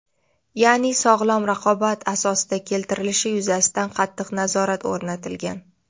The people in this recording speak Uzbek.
ya’ni sog‘lom raqobat asosida keltirilishi yuzasidan qattiq nazorat o‘rnatilgan.